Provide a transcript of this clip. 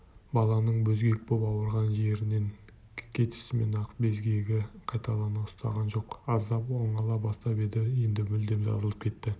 баланың безгек боп ауырған жерінен кетісімен-ақ безгегі қайталап ұстаған жоқ аздап оңала бастап еді енді мүлдем жазылып кетті